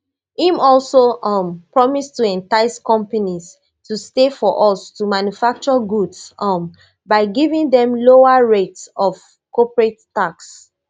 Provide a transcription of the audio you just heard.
im also um promise to entice companies to stay for us to manufacture goods um by giving dem lower rate of corporate tax